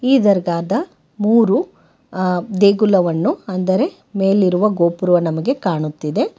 ಈ ದರ್ಗಾದ ಮೂರು ಆ ದೇಗುಲವನ್ನು ಅಂದರೆ ಮೇಲಿರುವ ಗೋಪುರವು ನಮಗೆ ಕಾಣುತ್ತಿದೆ.